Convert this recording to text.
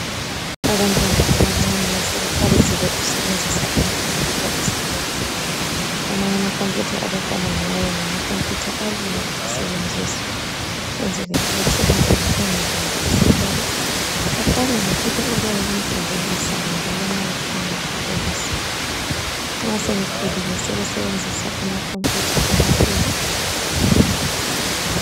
Abantwana abancane sebeqalisile ukusebenzisa amakhompuyutha esikolo. Amanye amakhompuyutha abaqala ngawo ngamakhompuyutha alula ukusebenzisa kwenzela ukuthi umntwana engazondi isikolo, aqale ngokunye okuyabe kumjabulisa njalo nxa efunda ekholise. Nxa sebekhulile sebesenzisa amakhompuyutha amakhulu.